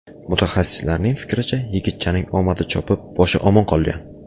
Mutaxassislarning fikricha, yigitchaning omadi chopib, boshi omon qolgan.